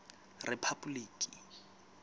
rephapoliki